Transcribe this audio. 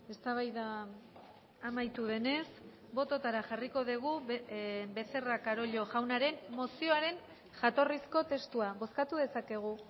eztabaida amaitu denez bototara jarriko dugu becerra carollo jaunaren mozioaren jatorrizko testua bozkatu dezakegu